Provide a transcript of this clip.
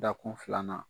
Dakun filanan